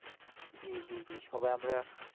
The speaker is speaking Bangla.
জ্বী জ্বী জ্বী সবাই আমরা